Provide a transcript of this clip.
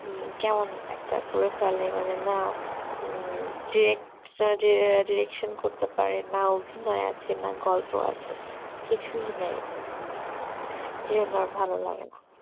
কেমন একটা পুরো ফেলায় মানে না হম যে যে direction করতে পারেনা অভনয় আছে না গল্প আছে কিছুই নাই এই জন্যে আর ভালো লাগে না